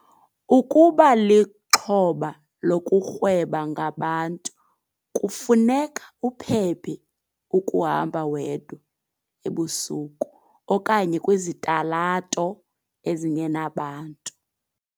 Ukuba lixhoba lokurhweba ngabantu kufuneka uphephe ukuhamba wedwa, ebusuku, okanye kwizitalato ezingenabantu.